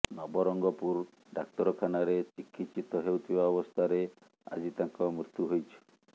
ନବରଙ୍ଗପୁର ଡାକ୍ତରଖାନାରେ ଚିକିତ୍ସିତ ହେଉଥିବା ଅବସ୍ଥାରେ ଆଜି ତାଙ୍କ ମୃତ୍ୟୁ ହୋଇଛି